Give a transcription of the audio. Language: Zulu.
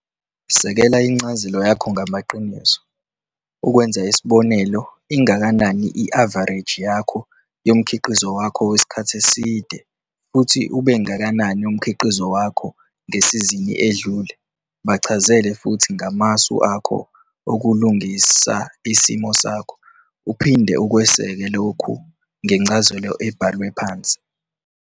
Sekela incazelo yakho ngamaqiniso - ukwenza isibonelo ingakanani i-avareji yomkhiqizo wakho wesikhathi eside futhi ubengakanani umkhiqizo wakho ngesizini edlule. Bachazele futhi ngamasu akho okulungisa isimo sakho. Uphinde ukweseke lokhu ngencazelo ebhalwe phansi.